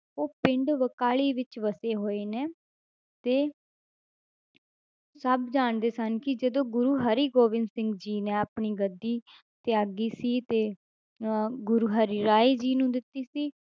ਉਹ ਪਿੰਡ ਬਕਾਲੇ ਵਿੱਚ ਵਸੇ ਹੋਏ ਨੇ ਤੇ ਸਭ ਜਾਣਦੇ ਸਨ ਕਿ ਜਦੋਂ ਗੁਰੂ ਹਰਿਗੋਬਿੰਦ ਸਿੰਘ ਜੀ ਨੇ ਆਪਣੀ ਗੱਦੀ ਤਿਆਗੀ ਸੀ ਤੇ ਅਹ ਗੁਰੂ ਹਰਿਰਾਏ ਜੀ ਨੂੰ ਦਿੱਤੀ ਸੀ।